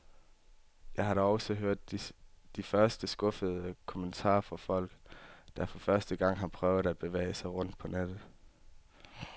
Jeg har da også hørt de første skuffede kommentarer fra folk, der for første gang har prøvet at bevæge sig rundt på nettet.